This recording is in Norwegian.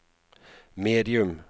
medium